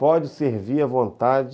Pode servir à vontade...